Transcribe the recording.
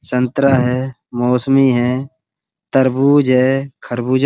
संतरा है मौसमी है तरबूज है खरबूजा --